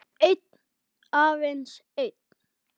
Einn, aðeins einn